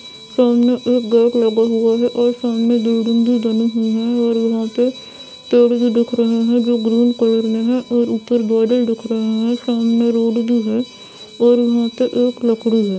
सामने एक गेट लगा हुआ है। और सामने बिल्डिंग भी बनी हुई है और यहाँ पे पेड़ भी दिख रहे है जो ग्रीन कलर में हैं। और ऊपर बिल्डिंग दिख रही है। सामने रोड भी है और यहाँ पे एक लकड़ी है।